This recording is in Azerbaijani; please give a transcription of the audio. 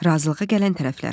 Razılığa gələn tərəflər.